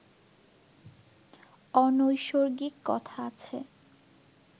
অনৈসর্গিক কথা আছে